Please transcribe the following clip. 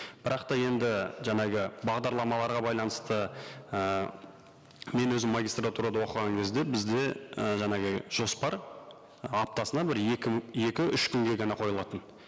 бірақ та енді жаңағы бағдарламаларға байланысты і мен өзім магистратурада оқыған кезде бізде і жаңағы жоспар аптасына бір екі екі үш күнге ғана қойылатын